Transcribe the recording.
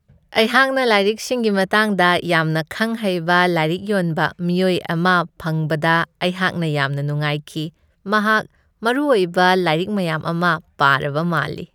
ꯑꯩꯍꯥꯛꯅ ꯂꯥꯏꯔꯤꯛꯁꯤꯡꯒꯤ ꯃꯇꯥꯡꯗ ꯌꯥꯝꯅ ꯈꯪ ꯍꯩꯕ ꯂꯥꯏꯔꯤꯛ ꯌꯣꯟꯕ ꯃꯤꯑꯣꯏ ꯑꯃ ꯐꯪꯕꯗ ꯑꯩꯍꯥꯛꯅ ꯌꯥꯝꯅ ꯅꯨꯡꯉꯥꯏꯈꯤ ꯫ ꯃꯍꯥꯛ ꯃꯔꯨꯑꯣꯏꯕ ꯂꯥꯏꯔꯤꯛ ꯃꯌꯥꯝ ꯑꯃ ꯄꯥꯔꯕ ꯃꯥꯜꯂꯤ ꯫